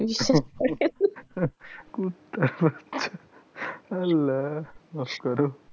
কুত্তার বাচ্চা আল্লাহ মাফ করো,